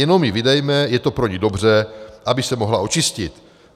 Jenom ji vydejme, je to pro ni dobře, aby se mohla očistit.